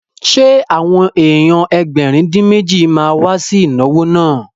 Ṣé àwọn èèyàn Ẹgbẹ̀rin-dín-méjì ma wá sí ìnáwó náà?